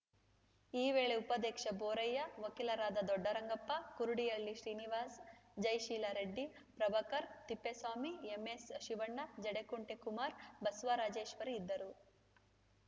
ಈ ವೇಳೆ ಉಪಾಧ್ಯಕ್ಷ ಬೋರಯ್ಯ ವಕೀಲರಾದ ದೊಡ್ಡರಂಗಪ್ಪ ಕುರುಡಿಹಳ್ಳಿ ಶ್ರೀನಿವಾಸ್‌ ಜಯಶೀಲ ರೆಡ್ಡಿ ಪ್ರಭಾಕರ್‌ ತಿಪ್ಪೇಸ್ವಾಮಿ ಎಂಎಸ್‌ಶಿವಣ್ಣ ಜಡೇಕುಂಟೆ ಕುಮಾರ್‌ ಬಸವರಾಜೇಶ್ವರಿ ಇದ್ದರು